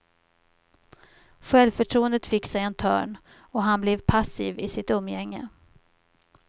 Självförtroendet fick sig en törn och han blev passiv i sitt umgänge.